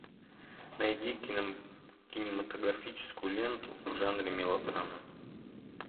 найди кинематографическую ленту в жанре мелодрама